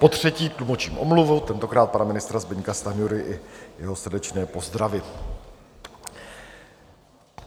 Potřetí tlumočím omluvu, tentokrát pana ministra Zbyňka Stanjury, i jeho srdečné pozdravy.